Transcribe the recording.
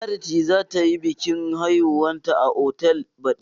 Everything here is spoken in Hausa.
Charity za ta yi biƙin haihuwanta a otal baɗi.